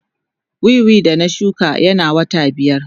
Wiwi da na shuka yana wata biyar.